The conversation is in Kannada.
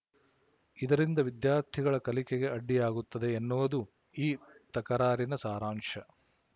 ಇದರಿಂದ ವಿದ್ಯಾರ್ಥಿಗಳ ಕಲಿಕೆಗೆ ಅಡ್ಡಿಯಾಗುತ್ತದೆ ಎನ್ನುವುದು ಈ ತಕರಾರಿನ ಸಾರಾಂಶ